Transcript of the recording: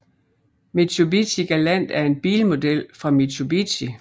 Mitsubishi Galant er en bilmodel fra Mitsubishi